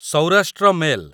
Saurashtra mail